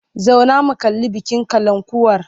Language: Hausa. Zauna mu kalli bikin kalankuwar!